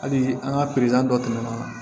Hali an ka dɔ tɛmɛna